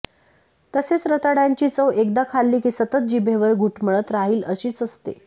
तसेच रताळ्यांची चव एकदा खाल्ली की सतत जीभेवर घुटमळत राहिल अशीच असते